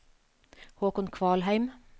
Håkon Kvalheim